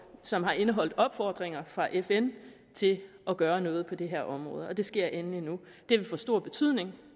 som har indeholdt opfordringer fra fn til at gøre noget på det her område og det sker endelig nu det vil få stor betydning